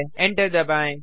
enter दबाएँ